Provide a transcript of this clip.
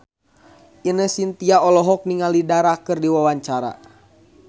Ine Shintya olohok ningali Dara keur diwawancara